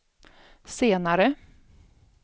senare